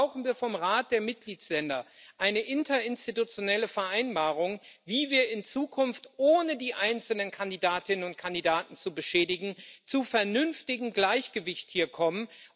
Deshalb brauchen wir vom Rat der Mitgliedsländer eine interinstitutionelle Vereinbarung, wie wir in Zukunft, ohne die einzelnen Kandidatinnen und Kandidaten zu beschädigen, hier zu einem vernünftigen Gleichgewicht kommen.